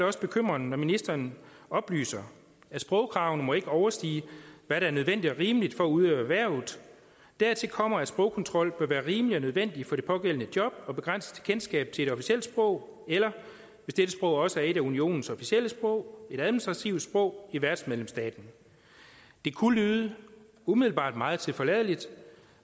også bekymrende når ministeren oplyser at sprogkravene ikke må overstige hvad der er nødvendigt og rimeligt for at udøve erhvervet dertil kommer at sprogkontrol vil være rimelig og nødvendig for det pågældende job og begrænse et kendskab til et officielt sprog eller hvis dette sprog også er et af unionens officielle sprog et administrativt sprog i værtsmedlemsstaten det kunne umiddelbart lyde meget tilforladeligt